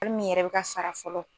kɔli min yɛrɛ be ka sara fɔlɔ